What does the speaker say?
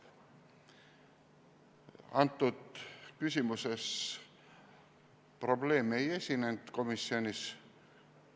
Antud küsimuses probleeme komisjonis ei esinenud.